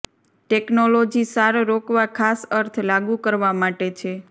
technology સાર રોકવા ખાસ અર્થ લાગુ કરવા માટે છે